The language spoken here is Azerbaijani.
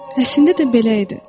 Əslində də belə idi.